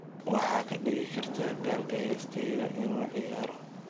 waxaad ka dhigi kartaa galka heestayda inuu ciyaaro